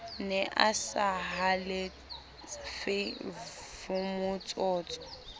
ne a sa halefe vmotsotso